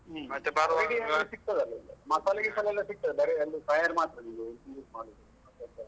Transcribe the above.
ಹ್ಮ್ ಅಂಗಡಿಯಲ್ಲಿ ಸಿಗ್ತದಲ್ಲ ಮಸಾಲಾ ಗಿಸಾಲ ಎಲ್ಲ ಸಿಗ್ತದೆ, ಬರಿ ಅಲ್ಲಿ fire ಮಾತ್ರ ಮಾಡುದು.